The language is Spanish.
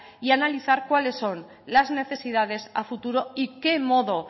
y analizar cuáles son las necesidades a futuro y qué modo